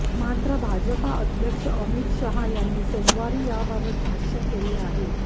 मात्र भाजपाध्यक्ष अमित शहा यांनी सोमवारी याबाबत भाष्य केले आहे